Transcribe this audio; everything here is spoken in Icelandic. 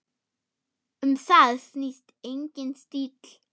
Um það snýst eigin stíll.